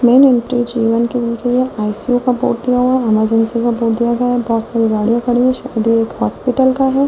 बहुत सारी गाड़िया खड़ी हैशायद ये एक हॉस्पिटल का है।